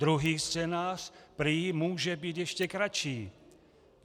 Druhý scénář prý může být ještě kratší.